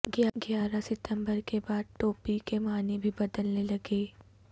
گیارہ ستمبر کے بعد ٹوپی کے معنی بھی بدلنے لگے